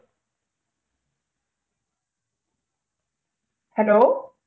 Hello